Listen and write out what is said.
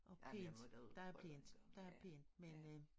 Og pænt der er pænt der er pænt men øh